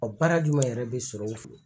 baara jumɛn yɛrɛ be sɔrɔ u fɛ.